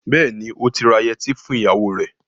Bẹ́ẹ̀ni, ó ti ra yẹtí fún ìyàwó rẹ.